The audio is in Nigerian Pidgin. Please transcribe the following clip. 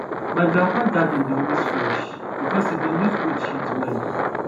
my grandpapa garden dey always fresh because e dey use goat shit well